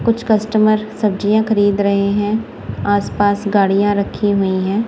कुछ कस्टमर सब्जियां खरीद रहे हैं आसपास गाड़ियां रखी हुई हैं।